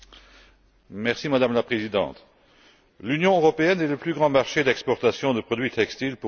Madame la Présidente, l'Union européenne est le plus grand marché d'exportation de produits textiles pour le Bangladesh.